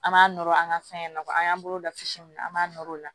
An b'a nɔrɔ an ka fɛn na an y'an bolo lafili min an b'a nɔr'o la